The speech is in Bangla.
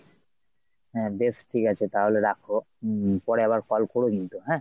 হ্যাঁ বেশ ঠিকাছে তাহলে রাখো, উম পরে আবার call কোরো কিন্তু হ্যাঁ।